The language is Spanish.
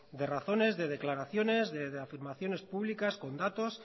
de razones de declaraciones de afirmaciones públicas con datos